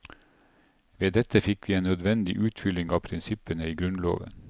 Ved dette fikk vi en nødvendig utfylling av prinsippene i grunnloven.